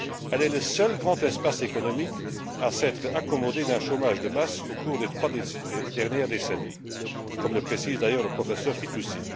Elle est le seul grand espace économique à s'être accommodé d'un chômage de masse au cours des trois dernières décennies, comme le précise d'ailleurs le professeur Fitoussi.